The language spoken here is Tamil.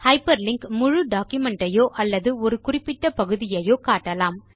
ஹைப்பர்லிங்க் முழு டாக்குமென்ட் ஐயோ அல்லது ஒரு குறிப்பிட்ட பகுதியையோ காட்டலாம்